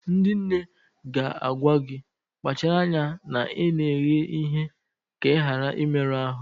Ndị nne ga-agwa gị, kpachara anya na ị na-eghe ihe ka ị ghara ịmerụ ahụ